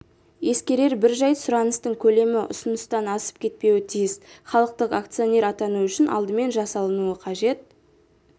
ескерер бір жайт сұраныстың көлемі ұсыныстан асып кетпеуі тиіс халықтық акционер атану үшін алдымен жасалынуы қажет